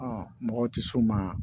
mɔgɔw tɛ s'o ma